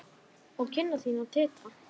Og kinnar þínar titra.